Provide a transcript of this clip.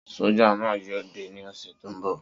Soja naa yoo de ni ose to nbo